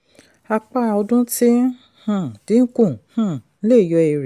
apá ọdún tí ń um dínkù um lè yọ èrè.